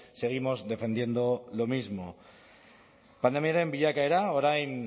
seguimos defendiendo lo mismo pandemiaren bilakaera orain